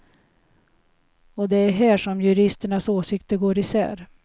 Och det är här som juristernas åsikter går isär.